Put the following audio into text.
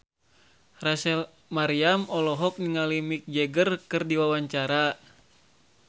Rachel Maryam olohok ningali Mick Jagger keur diwawancara